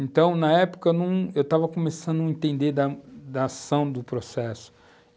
Então, na época, num, eu estava começando a entender da ação do processo.